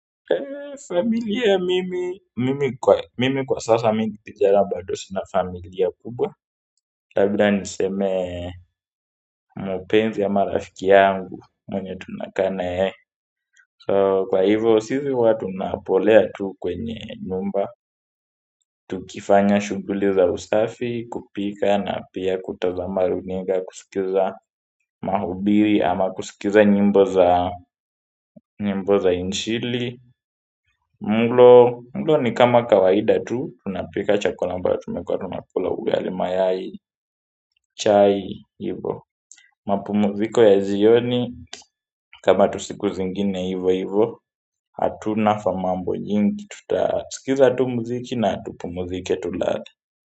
Eee, familia mimi, mimi kwa sasa mini kijana bado sina familia kubwa labda niseme mpenzi ama rafiki yangu, mwenye tunakaa na yeye. So, kwa hivyo, sisi watu tunapolea tu kwenye nyumba. Tukifanya shughuli za usafi, kupika na pia kutazama runinga kusikiza mahubiri ama kusikiza nyimbo za nyimbo za injili mlo ni kama kawaida tu tunapika chakula ambacho tumekuwa tunakula ugali mayai chai hivyo mapumziko ya jioni kama tusiku zingine hivo hivo. Hatuna famambo nyingi. Tutasikiza tu mziki na tupumzike tulale.